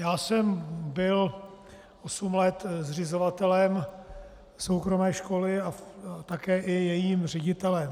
Já jsem byl osm let zřizovatelem soukromé školy a také i jejím ředitelem.